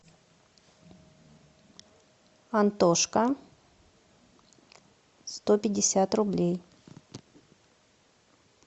антошка сто пятьдесят рублей